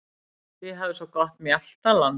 Þið hafið svo gott mjaltaland.